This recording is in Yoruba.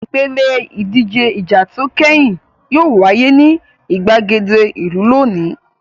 Ìpèlè ìdíje ìjà tó kẹ́yìn yóò wáyé ní ìgbàgede ìlú lónìí.